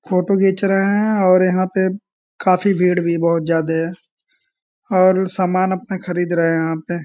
Photo खींच रहे हैं और यहाँ पे काफी भीड़ भी बहोत ज्यादे हैं और सामान अपने खरीद रहे हैं यहां पे।